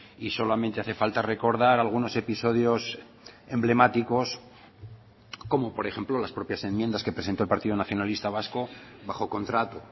y solamente hace falta recordar algunos episodios emblemáticos como por ejemplo las propias enmiendas que presentó el partido nacionalista vasco bajo contrato